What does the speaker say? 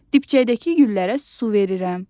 Dibçəkdəki güllərə su verirəm.